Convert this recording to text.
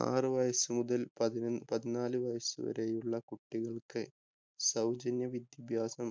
ആറു വയസ്സുമുതല്‍ പതിനാ പതിനാലു വയസ്സു വരെയുള്ള കുട്ടികള്‍ക്ക്, സൗജന്യ വിദ്യാഭ്യാസം